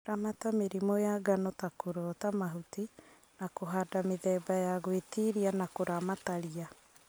Ramata mĩrimũ ya ngano ta kũrota mahuti na kũhanda mĩthemba ya gwĩtiria na kuramata ria